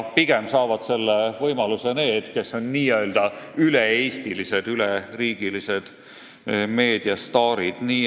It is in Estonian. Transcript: Pigem saavad selle võimaluse need, kes on n-ö üle-eestilised, üleriigilised meediastaarid.